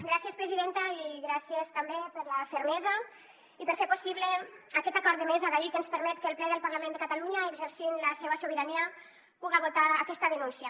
gràcies presidenta i gràcies també per la fermesa i per fer possible aquest acord de mesa d’ahir que ens permet que el ple del parlament de catalunya exercint la seua sobirania puga votar aquesta denúncia